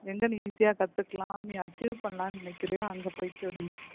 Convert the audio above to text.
எங்கேன்னு easy ஆ கத்துக்கலாம் நீ achieve பண்ணலாம்ன்னு நினைக்கிறாயோ அங்க போய்க்கோ டி